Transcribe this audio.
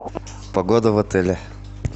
погода в отеле